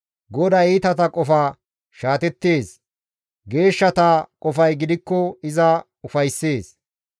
GODAY iitata qofa shaatettees; geeshshata qofay gidikko iza ufayssees.